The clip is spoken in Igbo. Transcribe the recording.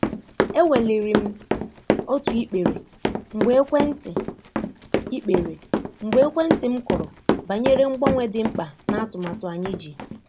E weliri m otu ikpere mgbe ekwentị ikpere mgbe ekwentị m kụrụ banyere mgbanwe dị mkpa n'atumatu anyị ji.